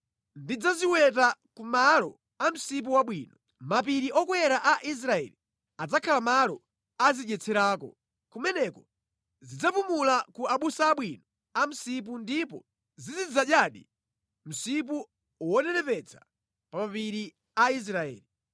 Ndidzaziwetera kumalo a msipu wabwino. Mapiri okwera a Israeli adzakhala malo azidyetserako. Kumeneko zidzapumula ku abusa abwino a msipu ndipo zizidzadyadi msipu wonenepetsa pa mapiri a Israeli.